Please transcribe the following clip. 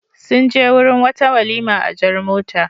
Sun je wurin wata walima a jar mota.